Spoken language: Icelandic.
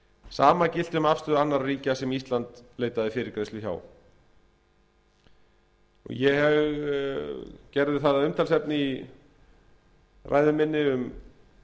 sama gilti um afstöðu annarra ríkja sem ísland leitaði fyrirgreiðslu hjá ég gerði það að umtalsefni í ræðu minni um